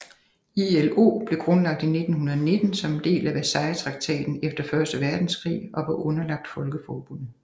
ILO blev grundlagt i 1919 som en del af Versaillestraktaten efter første verdenskrig og var underlagt Folkeforbundet